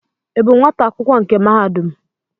Ị bụ nwata akwụkwọ nke mahadum?